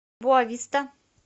боа виста